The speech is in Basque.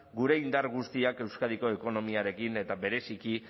gure indar guztiak euskadiko ekonomiarekin eta bereziki